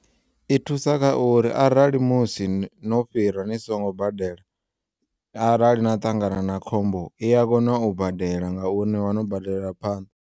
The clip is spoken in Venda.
I thusa kha uri arali musi no fhira nisongo badela, arali na ṱangana na khombo i yakona u badela ngauri nivha no badelela phanḓa